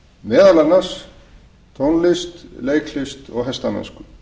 meðal annars tónlist leiklist og hestamennsku